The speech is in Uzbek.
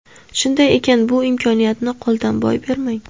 Shunday ekan bu imkoniyatni qo‘ldan boy bermang.